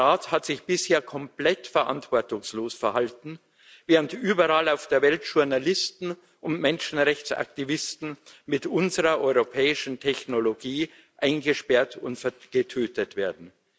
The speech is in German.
Der Rat hat sich bisher komplett verantwortungslos verhalten, während überall auf der Welt Journalisten und Menschenrechtsaktivisten mit unserer europäischen Technologie eingesperrt und getötet werden.